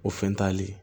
O fɛn t'ale